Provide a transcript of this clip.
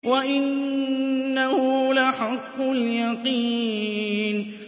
وَإِنَّهُ لَحَقُّ الْيَقِينِ